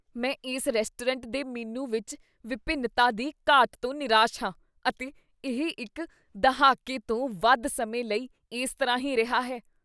ਮੈਂ ਇਸ ਰੈਸਟੋਰੈਂਟ ਦੇ ਮੀਨੂ ਵਿੱਚ ਵਿਭਿੰਨਤਾ ਦੀ ਘਾਟ ਤੋਂ ਨਿਰਾਸ਼ ਹਾਂ ਅਤੇ ਇਹ ਇੱਕ ਦਹਾਕੇ ਤੋਂ ਵੱਧ ਸਮੇਂ ਲਈ ਇਸ ਤਰ੍ਹਾਂ ਹੀ ਰਿਹਾ ਹੈ।